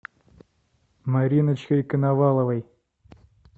мариночкой коноваловой